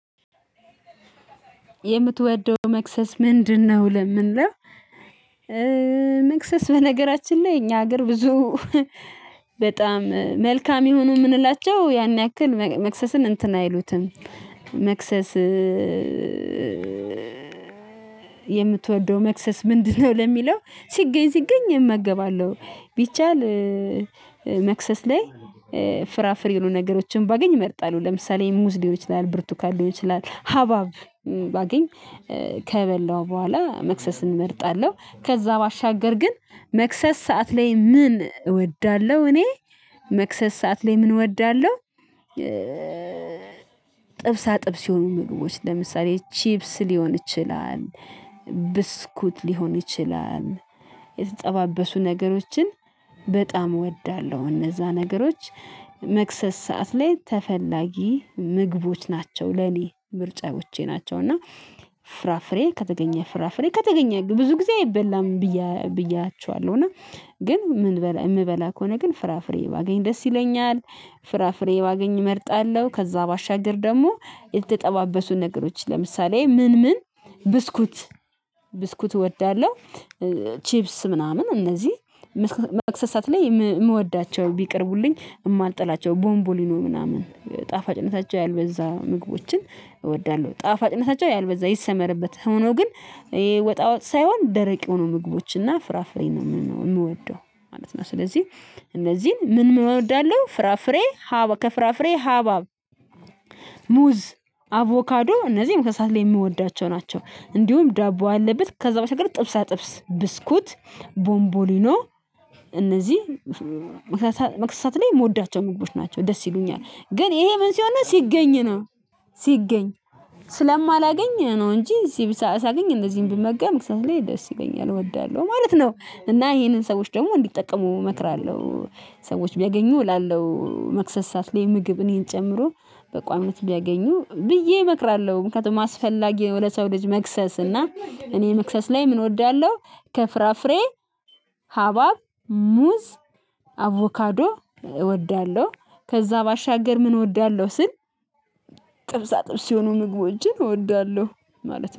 የምትወደው መክሰስ ምንድነው? ለሚለው መክሰስ በነገራችን ላይ እኛ ሀገር ብዙ በጣም መልካም የሆኑ የምንላቸው ያን ያክል መክሰስን እንትን አይሉትም። መክሰስ። የምትወደው መክሰስ ምንድነው? ለሚለው ሲገኝ ሲገኝ እመገባለሁ። ቢቻል መክሰስ ላይ ፍራፍሬ የሆኑ ነገሮችን ባገኝ እመርጣለው። ለምሳሌ ሙዝ ሊሆን ይችላል ብርቱካን ሊሆን ይችላል። ሀባብ ባገኝ ከበላው በኋላ መክሰስን እመርጣለሁ። ከዛ ባሻገር ግን መክሰስ ሰዓት ላይ ምን እወዳለሁ እኔ መክሰስ ሰዓት ላይ ምን እወዳለሁ? ጥብሳ ጥብስ የሆኑ ምግቦች ለምሳሌ ቺብስ ሊሆን ይችላል። ብስኩት ሊሆን ይችላል። የተጠባበሱ ነገሮችን በጣም እወዳለሁ። እነዛ ነገሮች መክሰስ ሰዓት ላይ ተፈላጊ ምግቦች ናቸው ለኔ ምርጫዎቼ ናቸው። እና ፍራፍሬ ከተገኘ ፍራፍሬ ከተገኘ ብዙ ጊዜ አይበላም ብያ ብያችኋለሁ። እና እና ግን የምበላ ከሆነ ግን ፍራፍሬ ባገኝ ደስ ይለኛል። ፍራፍሬ ባገኝ እመርጣለሁ። ከዛ ባሻገር ደግሞ የተጠባበሱ ነገሮች ለምሳሌ ምን ምን ብስኩት ብስኩት እወዳለሁ። ቺብስ ምናምን እነዚህ መክሰሳት ላይ የምወዳቸው ቢቀርቡልኝ የማልጠላቸው ቦንቦሊኖ ምናምን ጣፋጭነታቸው ያልበዛ ምግቦችን እወዳለሁ። ጣፋጭነታቸው ያልበዛ ይሰመርበት ሆኖ ግን ይሄ ወጣ ወጥ ሳይሆን ደረቅ የሆኑ ምግቦችና ፍራፍሬ ነው የምወደው። ማለት ነው። ስለዚህ እነዚህን ምን ምን እወዳለው ፍራፍሬ ሀባብ ከፍራፍሬ ሀባብ ሙዝ አቮካዶ እነዚህም ከሰአት ላይ የምወዳቸው ናቸው። እንዲሁም ዳቦ አለበት ከዛ በተገኘች ጥብስ አጥብስ ብስኩት ቦንቦሊኖ እነዚህ መክሰስ ሰዓት ላይ የምወዳቸው መግቦች ናቸው። ደስ ይሉኛል ግን ይሄ ምን ሲሆን ሲገኝ ነው። ሲገኝ ስለማላገኝ ነው እንጂ እዚህ ሳገኝ እንደዚህም ብመገብ መክሰስ ላይ ደስ ይገኛል እወዳለሁ ማለት ነው። እና ይሄንን ሰዎች ደግሞ እንዲጠቀሙ እመክራለሁ። ሰዎች ቢያገኙ እላለሁ መክሰስ ሰዓት ላይ ምግብ እኔን ጨምሮ በቋሚነት ቢያገኙ ብዬ እመክራለሁ። ምክንያቱም አስፈላጊ ነው። ለሰው ልጅ መክሰስ እና እኔ መክሰስ ላይ ምን እወዳለሁ? ከፍራፍሬ ሀባብ ሙዝ አቮካዶ እወዳለሁ። ከዛ ባሻገር ምን እወዳለሁ ስል ጥብሳ ጥብስ የሆኑ ምግቦችን እወዳለሁ። ማለት ነው